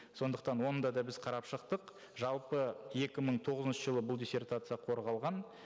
сондықтан оны да да біз қарап шықтық жалпы екі мың тоғызыншы жылы бұл диссертация қорғалған